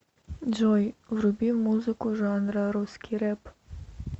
джой вруби музыку жанра русский рэп